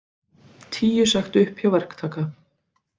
Tíu sagt upp hjá verktaka